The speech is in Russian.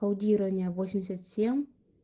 аудирование восемьдесят семь